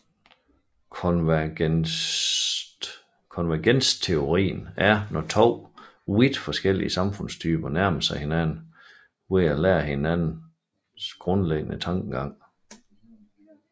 Konvergensteorien er når to vidt forskellige samfundstyper nærmer sig hinanden ved at lære af hinandens grundlæggende tankegange